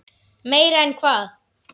Meira en hvað?